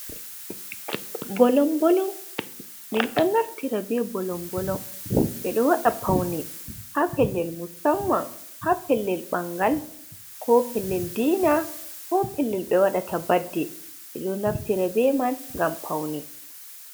Bolom bolom min ɗon naftira be bolon bolon ɓe ɗo waɗa faune ha pellel musamman ha pellel ɓangal ko pellel dina ko pellel be waɗata badde ɓe ɗo naftira be man ngam faune.